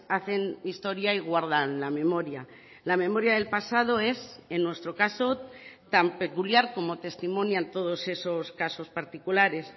hacen historia y guardan la memoria la memoria del pasado es en nuestro caso tan peculiar como testimonian todos esos casos particulares